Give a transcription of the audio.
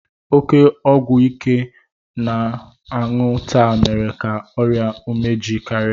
Oke ọgwụ ike a na-aṅụ taa mere ka ọrịa umeji karịa